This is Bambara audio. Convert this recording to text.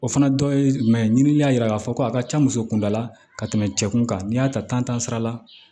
O fana dɔ ye jumɛn ye ɲiniɲini y'a yira k'a fɔ ko a ka ca muso kunda la ka tɛmɛ cɛ kun kan n'i y'a ta sira la